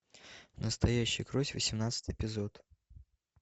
настоящая кровь восемнадцатый эпизод